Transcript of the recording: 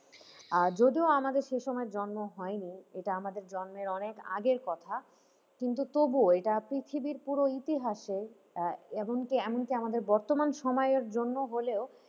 আর যদিও আমাদের সে সময় জন্ম হয়নি এটা আমাদের জন্মের অনেক আগের কথা, কিন্তু তবুও এটা পৃথিবীর পুরো ইতিহাসে আহ এমনকি এমনকি আমাদের বর্তমান সময়ের জন্য হলেও।